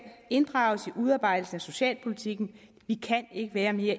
inddrages i udarbejdelsen af socialpolitikken vi kan ikke være mere